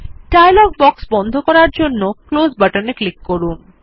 dialogue box বন্ধ করার জন্য ক্লোজ বাটন এ ক্লিক করুন